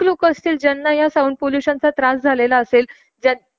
किव्हा ऐकू येते पण खूप कमी प्रमाणात येते , आस झालं असेल